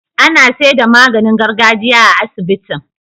Ana seda maganin gargajiya a asibitin